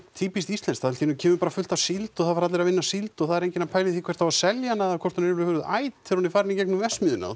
týpískt íslenskt allt í einu kemur bara fullt af síld og það fara allir að vinna síld og það er enginn að pæla í því hvert á að selja hana eða hvort hún er yfirhöfuð æt þegar hún farin í gegnum verksmiðjuna og